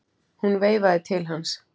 Hún veifaði til hans.